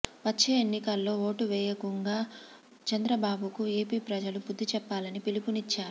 వచ్చే ఎన్నికల్లో ఓటు వేయకుంగా చంద్రబాబుకు ఏపీ ప్రజలు బుద్ధి చెప్పాలని పిలుపు నిచ్చారు